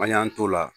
An y'an t'o la